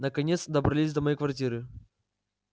наконец добрались до моей квартиры